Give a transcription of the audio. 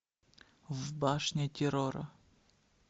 в башне террора